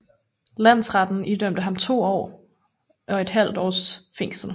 Landsretten idømt ham to og et halvt års fængsel